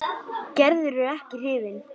Gerður er ekki hrifin.